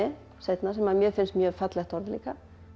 seinna sem mér finnst mjög fallegt orð líka